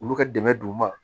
Olu ka dɛmɛ don u ma